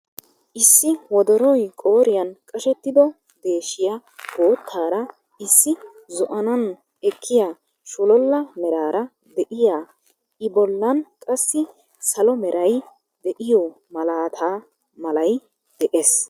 Issi wodoroy qooriyan qashettido deeshshshiya boottaara issi zo"anaani ekkiyaa shololla meeraara de"iyaa I bollan qassi salo meray de"iyoo malata malay de'ees.